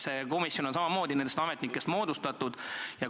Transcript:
See komisjon on samamoodi moodustatud ametnikest.